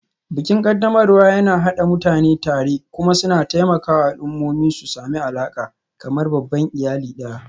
Bikin ƙaddamarwa yana haɗa mutane tare kuma suna taimakawa al'ummomi su sami alaƙa, kamar babban iyali ɗaya.